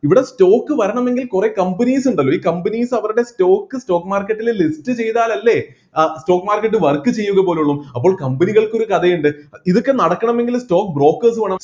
ഇവിടെ stock വരണമെങ്കിൽ കുറെ companies ഉണ്ടല്ലോ ഈ companies അവരുടെ stock stock market ലെ list ചെയ്‌താലല്ലേ അഹ് stock market work ചെയ്യുക പോലുള്ളൂ അപ്പൊ company കൾക്ക് ഒരു കഥയുണ്ട് ഇതൊക്കെ നടക്കണമെങ്കിൽ stock brokers വേണം